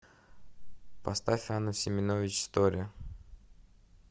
поставь анну семенович стори